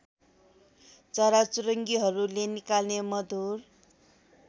चराचुरुङ्गीहरूले निकाल्ने मधुर